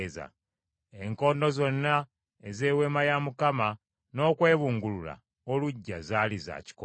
Enkondo zonna ez’Eweema n’okwebungulula oluggya zaali za kikomo.